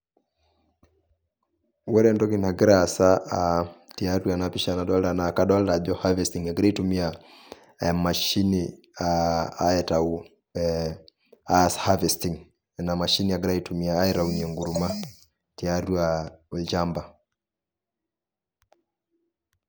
Ore entoki nagira aasa aa, tiatua ena pisha nadoolta naa kadolta ajo cs[harvesting]cs egirai aitumia emashini aa aitayu ee aas cs[harvesting]cs ina mashini egirai aitumia aitaunye enkurrma tiatua olchamba.